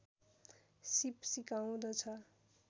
सीप सिकाउँदछ